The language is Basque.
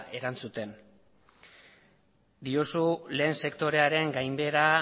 erantzuten diozu lehen sektorearen gainbehera